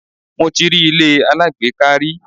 Mo ti rí ilé alágbèéká rí.